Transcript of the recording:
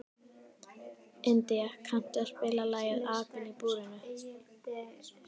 India, kanntu að spila lagið „Apinn í búrinu“?